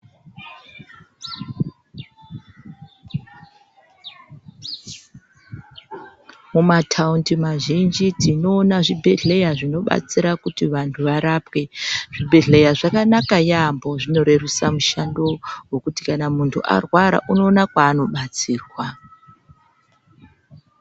Mumataundi mazhinji tinoona zvibhedhleya zvinobatsira kuti vantu varapwe. Zvibhehleya zvakanaka yaambo zvinorerusa mushando wekuti kana muntu arwara unowana kwaanobatsirwa.